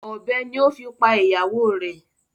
Ọ̀bẹ ni o fi pa ìyàwó rẹ̀.